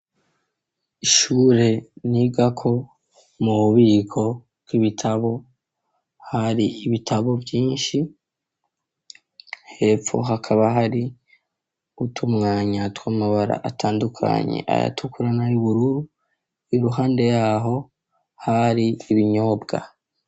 Ishure nigako mu bubiko bw'ibitabo hari ibitabo vyishi hepfo hakaba hari utumwanya twamabara atandukanye ayatukura nayu bururu iruhande yaho hari ibinyobwa.